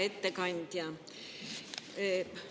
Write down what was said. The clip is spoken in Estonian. Hea ettekandja!